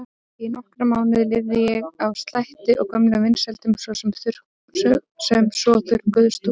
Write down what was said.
Í nokkra mánuði lifði ég á slætti og gömlum vinsældum sem svo þurrkuðust út.